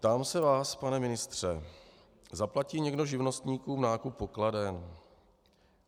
Ptám se vás, pane ministře: Zaplatí někdo živnostníkům nákup pokladen?